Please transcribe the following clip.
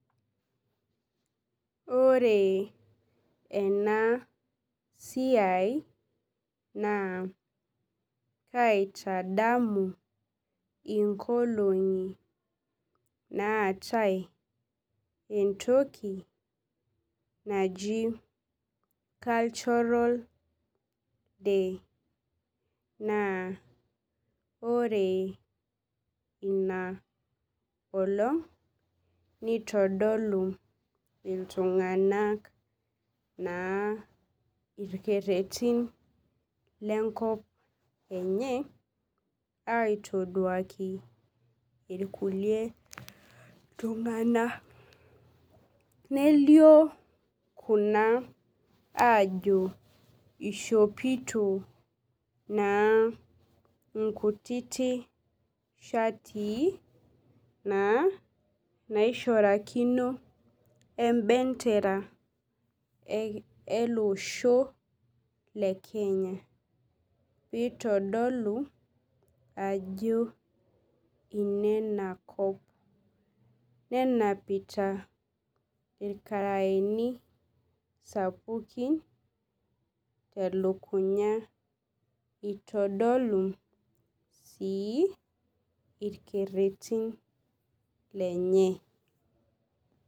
Ore ena siai na kaitadamu nkolongi naatae entoki naaji cultural day na ore inaolong nitodolu ltunganak irkererin lenkop enye aitaduaki irkulie tunganak nelio kuna ajo ishopito naa nkutitik shatii naishorakini embendera eloosho lekenya pitadolu ajo nena kop nenapita irkaraeni sapukin telukunya itodolu irkererin lenye.